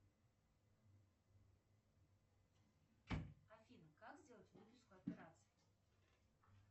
афина как сделать выписку операций